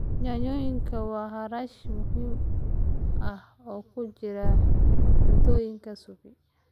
Yaanyadu waa xawaash muhiim ah oo ku jira cuntooyinka suppe.